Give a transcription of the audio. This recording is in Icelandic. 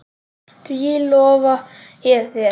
Því lofa ég þér